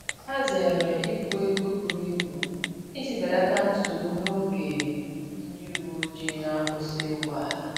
Ha zere ibu ego buru ibu iji belata nsogbu n’oge ndị uweojii na-akwusi ụgbọala